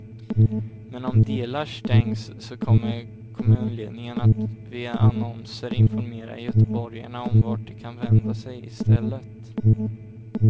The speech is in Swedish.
Men om delar stängs så kommer kommunledningen att via annonser informera göteborgarna om vart de kan vända sig istället.